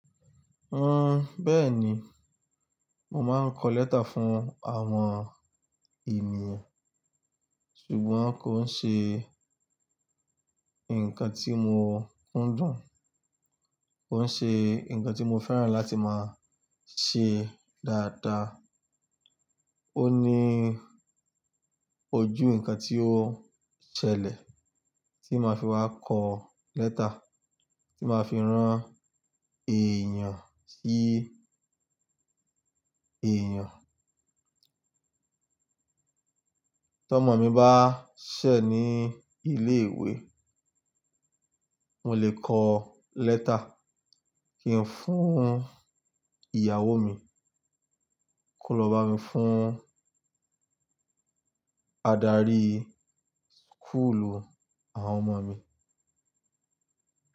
Ẹ́n, bẹ́ẹ̀ni. Mo máa ń kọ lẹ́tà fún àwọn ènìyàn, ṣùgbọ́n kò ń ṣe nǹkan tí mo kúndùn, kò ń ṣe nǹkan tí mo fẹ́ràn láti máa ṣe dáadáa. Ó ní ojú nǹkan tí ó ṣẹlẹ̀ tí màá fi wá kọ lẹ́tà, tí màá fi rán èèyàn sí èèyàn. Tí ọmọ mi bá ṣẹ̀ ní ilé ìwé, mo lè kọ lẹ́tà kí n fún ìyàwó mi, kó lọ bá mi fún adarí school u àwọn ọmọ mi.